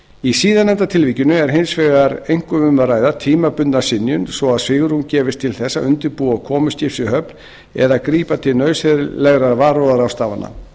í síðarnefnda tilvikinu er hins vegar einkum um að ræða tímabundna synjun svo að svigrúm gefist til þess að undirbúa komu skips í höfn eða grípa til nauðsynlegra varúðarráðstafana